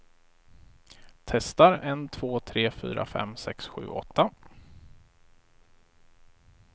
Testar en två tre fyra fem sex sju åtta.